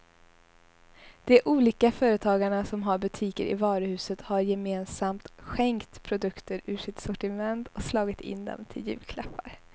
De olika företagarna som har butiker i varuhuset har gemensamt skänkt produkter ur sitt sortiment och slagit in dem till julklappar.